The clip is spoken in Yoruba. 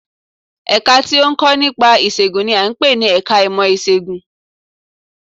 Ẹ̀ka tí ó ń kọ́ nípa ìṣègùn n i à ń pè ní ẹka ìmọ̀ Ìṣègùn